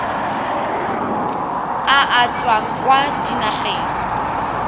a a tswang kwa dinageng